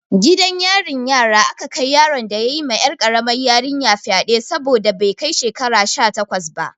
Gidan yarin yara aka kai yaron da ya yi ma 'yar karamar yarinyar fyade saboda bai kai shekara sha takwas ba.